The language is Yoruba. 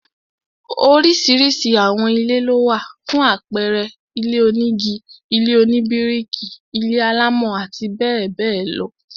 Oríṣiríṣi àwọn ilé lówà, fún àpẹẹrẹ, ilé onígi, ilé oníbíríkì, ilé-alámọ̀ àti bẹẹ bẹẹ lọ